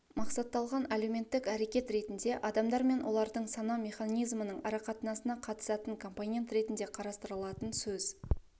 мақсатталған әлеуметтік әрекет ретінде адамдар мен олардың сана механизмінің арақатынасына қатысатын компонент ретінде қарастырылатын сөз